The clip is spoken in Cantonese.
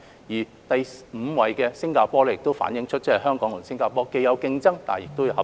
至於第五位是新加坡，同樣反映香港與新加坡之間既有競爭，亦有合作。